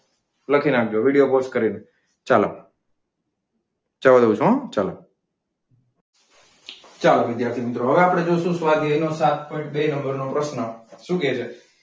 લખી નાખજો video pause કરીને. ચાલો, જવા દઉં છું હો ચાલો ચાલો વિદ્યાર્થી મિત્રો હવે આપણે જોશું સ્વાધ્યાયનો સાત પોઈન્ટ બે નંબર નો પ્રશ્ન શું કહે છે?